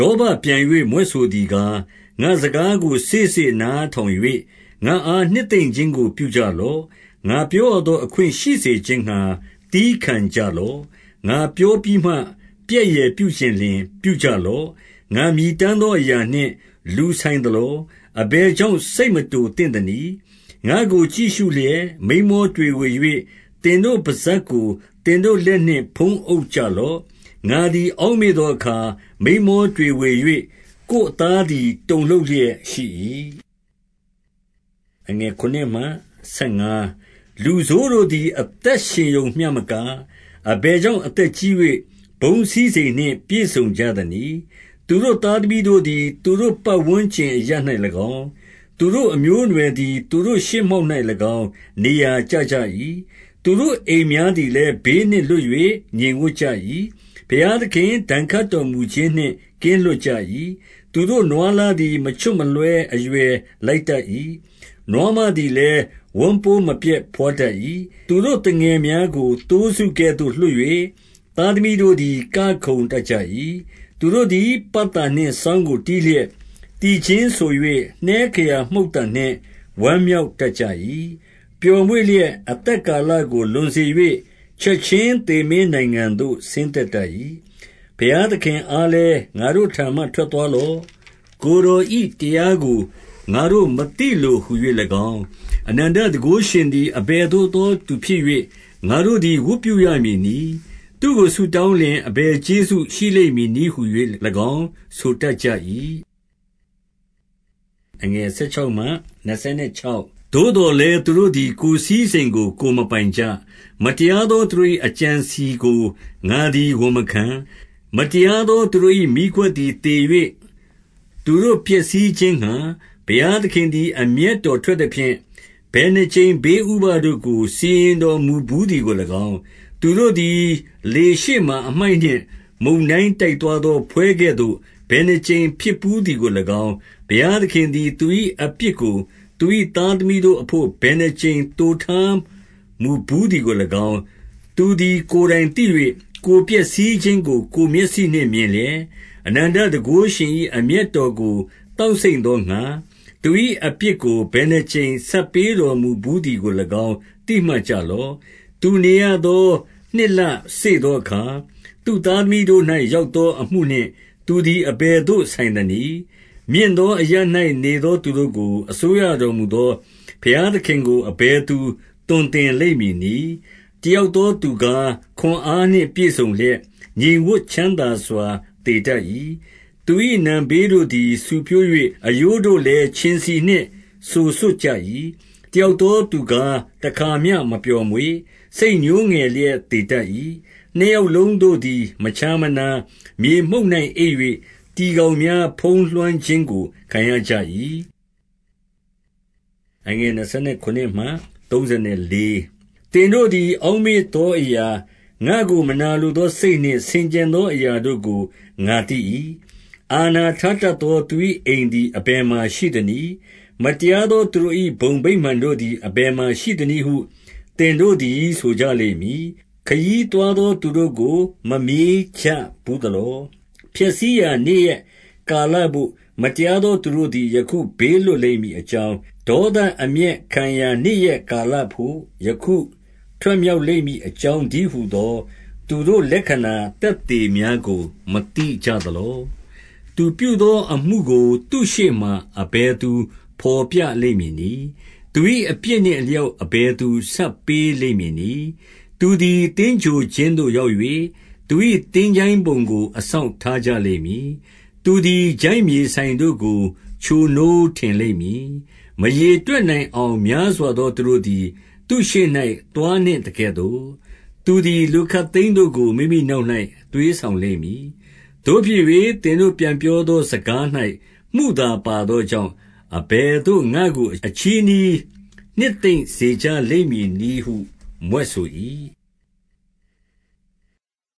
ောဘပြန်၍ မြွက်ဆိုသည်ကား၊ 2 ငါ့စကားကိုစေ့စေ့နားထောင်၍ ငါ့အားနှစ်သိမ့် ခြင်းကို ပြုကြလော့။ 3 ငါပြောရသောအခွင့်ရှိစေခြင်းငှါ သည်းခံကြ လော့။ ငါပြောပြီးမှ ပြက်ယယ်ပြုချင်လျှင် ပြုကြလော့။ 4 ငါမြည်တမ်းသောအရာနှင့် လူဆိုင်သလော။ အဘယ်ကြောင့် စိတ်မတိုသင့်သနည်း။ 5 ငါ့ကိုကြည့်ရှုလျက် မိန်းမောတွေဝေ၍၊ သင်တို့ပစပ်ကို သင်တို့ လက်နှင့် ဖုံးအုပ် ကြလော။ 6 ငါသည်အောက်မေ့သောအခါ။ မိန်းမောတွေဝေ၍၊ ကိုယ်အသားသည် တုန်လှုပ်လျက်ရှိ၏။ 7 လူဆိုးတို့သည် အသက်ရှင်ရုံမျှမက၊ အဘယ်ကြောင့် အသက်ကြီး၍ ဘုန်းစည်းစိမ်နှင့် ပြည့်စုံကြ သနည်း။ 8 သူတို့သားသမီးတို့သည် သူတို့ပတ်ဝန်းကျင် အရပ်၌၎င်း၊ သူတို့အမျိုးအနွယ်သည် သူတို့ရှေ့မှောက် ၌၎င်း နေရာကျကြ၏။ 9 သူတို့အိမ်များသည်လည်း ဘေးနှင့်လွတ်၍ ငြိမ်ဝပ်ကြ၏။ ဘုရားသခင်ဒဏ်ခတ်တော်မူခြင်းနှင့် ကင်းလွတ်ကြ၏။ 10 သူတို့နွားလားသည် မချွတ်မလွှဲ အရွယ်လိုက်တတ်၏။ နွားမသည်လည်း ဝမ်းပိုးမပျက်ဘွားတတ်၏။ 11 သူတို့သူငယ်များကို သိုးစုကဲ့သို့လွှတ်၍၊ သားသမီးတို့သည် ကခုန်တတ်ကြ၏။ 12 သူတို့သည် ပတ်တာနှင့်စောင်းကို တီးလျက်၊ သီချင်းဆို၍ နှဲခရာမှုတ်သံနှင့် ဝမ်းမြောက်တတ်ကြ၏။ 13 ပျော်မွေ့လျက် အသက်ကာလကို လွန်စေ၍၊ ချက်ခြင်းသေမင်းနိုင်ငံသို့ ဆင်းသက်တတ်ကြ၏။ 14 ဘုရားသခင်အားလည်း၊ ငါ့တို့ထံမှ ထွက်သွားလော့။ ကိုယ်တော်၏တရားကို ငါတို့မသိလိုဟူ၍၎င်း၊ 15 အနန္တတန်ခိုးရှင်သည် အဘယ်သို့သောသူဖြစ်၍ ငါတို့သည် ဝတ်ပြုရမည်နည်း။သူ့ကိုဆုတောင်းလျှင် အဘယ်ကျေးဇူးရှိလိမ့်မည်နည်းဟူ၍၎င်း ဆိုတတ်ကြ၏။ 16 သို့သော်လည်း သူတို့သည် ကိုယ်စည်းစိမ်ကို ကိုယ်မပိုင်ကြ။ မတရားသောသူတို့၏ အကြံအစည်ကို ငါသည် ဝန်မခံ။ 17 မတရားသောသူတို့၏ မီးခွက်သည် သေ၍၊ သူတို့ကို ဖျက်ဆီးခြင်းငှါ ဘုရားသခင်သည် အမျက်တော် ထွက်သဖြင့်၊ ဘယ်နှစ်ကြိမ်ဘေးဥပဒ်တို့ကို စီရင်တော်မူ ဘူးသည်ကို၎င်း၊ 18 သူတို့သည် လေရှေ့မှာအမှိုက်နှင့် မုန်တိုင်းတိုက် သွားသော ဖွဲကဲ့သို့ ဘယ်နှစ်ကြိမ်ဖြစ်ဘူးသည်ကို၎င်း၊ 19 ဘုရားသခင်သည် သူ၏အပြစ်ကို သူ၏သားသမီးတို့အဘို့ ဘယ်နှစ်ကြိမ် သိုထားတော်မူဘူးသည်ကို ၎င်း၊ သူသည်ကိုယ်တိုင်သိ၍၊ 20 ကိုယ်ပျက်စီးခြင်းကိုကိုယ် မျက်စိနှင့် မြင်လျက်၊ အနန္တတန်ခိုးရှင်၏အမျက်တော်ကို သောက်စိမ့်သောငှါ၊ သူ၏အပြစ်ကို ဘယ်နှစ်ကြိမ်ဆပ်ပေးတော်မူဘူးသည်ကို ၎င်းသိမှတ်ကြလော့။ 21 သူနေရသောနှစ်လစေ့သောအခါ၊ သူ့သားသမီးတို့၌ ရောက်သောအမှုနှင့် သူသည် အဘယ်သို့ ဆိုင်သနည်း။ 22 မြင့်သောအရပ်၌နေသောသူတို့ကို အစိုးရတော်မူသော ဘုရားသခင်ကိုအဘယ်သူ သွန်သင်လိမ့်မည် နည်း။ 23 တယောက်သောသူကား ခွန်အားနှင့် ပြည့်စုံ လျက်၊ ငြိမ်ဝပ်ချမ်းသာစွာ သေတတ်၏။ 24 သူ၏နံဖေးတို့သည် ဆူဖြိုး၍၊ အရိုးတို့လည်း ခြင်ဆီနှင့် စိုစွတ်ကြ၏။ 25 တယောက်သောသူကား တခါမျှမပျော်မွေ့၊ စိတ်ညှိုးငယ်လျက် သေတတ်၏။ 26 နှစ်ယောက်လုံးတို့သည် မခြားမနာ၊ မြေမှုန့်၌ အိပ်၍ တီကောင်များ ဖုံးလွှမ်းခြင်းကို ခံရကြ၏။ 27 သင်တို့သည် အောက်မေ့သောအရာ၊ ငါ့ကို မနာလိုသော စိတ်နှင့်ဆင်ခြင်သောအရာတို့ကို ငါသိ၏။ 28 အာဏာထားတတ်သော သူ၏အိမ်သည် အဘယ်မှာရှိသနည်း။ မတရားသောသူတို့၏ ဘုံဗိမာန်တို့ သည် အဘယ်မှာရှိသနည်းဟု သင်တို့သည် ဆိုကြလိမ့် မည်။ 29 ခရီးသွားသောသူတို့ကို မမေးကြဘူးသလော။ 30 ဖျက်ဆီးရာနေ့ရက်ကာလဘို့ မတရားသော သူတို့သည် ယခုဘေးလွတ်လိမ့်မည်အကြောင်း၊ ဒေါသ အမျက်ခံရာနေ့ရက်ကာလဘို့ယခုထွက်မြောက်လိမ့်မည် အကြောင်းတည်းဟူသောသူတို့လက္ခဏာသက်သေများကို မသိကြသလော။ 31 သူပြုသောအမှုကို သူ့ရှေ့မှာ အဘယ်သူဘော်ပြလိမ့်မည်နည်း။ သူ၏အပြစ်နှင့်အလျောက် အဘယ်သူ ဆပ်ပေးလိမ့်မည်နည်း။ 32 သူသည် သင်္ဂြိုဟ်ခြင်းသို့ရောက်၍၊ သူ၏သင်္ချိုင်းပုံကို အစောင့်ထားကြလိမ့်မည်။ 33 သူသည် ချိုင့်မြေစိုင်တို့ကို ချိုနိုးထင်လိမ့်မည်။ မရေတွက်နိုင်အောင်များစွာသောသူတို့သည် သူ့ရှေ့၌ သွားနှင့်သကဲ့သို့၊ သူသည် လူခပ်သိမ်းတို့ကို မိမိနောက်၌ သွေးဆောင်လိမ့်မည်။ 34 သို့ဖြစ်၍ သင်တို့ပြန်ပြောသော စကား၌ မုသာပါသောကြောင့်၊ အဘယ်သို့ငါ့ကို အချည်းနှီးနှစ်သိမ့်စေ ကြလိမ့်မည်နည်းဟု မြွက်ဆို၏။